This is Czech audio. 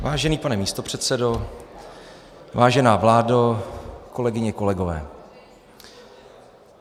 Vážený pane místopředsedo, vážená vládo, kolegyně, kolegové.